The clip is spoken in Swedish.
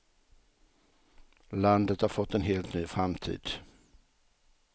Landet har fått en helt ny framtid.